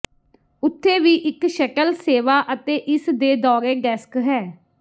ਉੱਥੇ ਵੀ ਇੱਕ ਸ਼ਟਲ ਸੇਵਾ ਅਤੇ ਇਸ ਦੇ ਦੌਰੇ ਡੈਸਕ ਹੈ